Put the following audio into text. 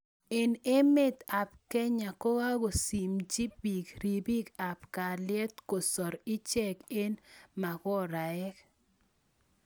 Eng emeet ap Kenya kokakosimchii piik ripik ap kalyet kosar icheek eng mokoraek